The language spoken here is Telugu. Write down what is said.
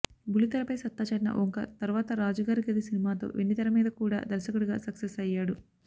బుల్లితెరపై సత్తా చాటిన ఓంకార్ తరువాత రాజుగారి గది సినిమాతో వెండితెర మీద కూడా దర్శకుడిగా సక్సెస్ అయ్యాడు